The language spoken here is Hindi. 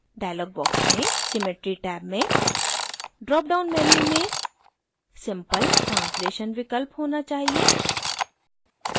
dialog box में symmetry टैब में dropdown menu में simple translation विकल्प होना चाहिए